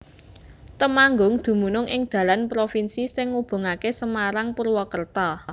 Temanggung dumunung ing dalan provinsi sing ngubungaké Semarang Purwakerta